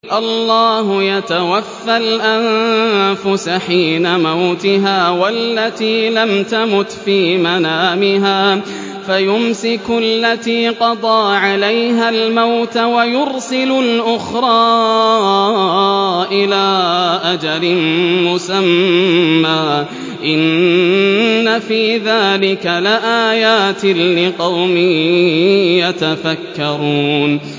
اللَّهُ يَتَوَفَّى الْأَنفُسَ حِينَ مَوْتِهَا وَالَّتِي لَمْ تَمُتْ فِي مَنَامِهَا ۖ فَيُمْسِكُ الَّتِي قَضَىٰ عَلَيْهَا الْمَوْتَ وَيُرْسِلُ الْأُخْرَىٰ إِلَىٰ أَجَلٍ مُّسَمًّى ۚ إِنَّ فِي ذَٰلِكَ لَآيَاتٍ لِّقَوْمٍ يَتَفَكَّرُونَ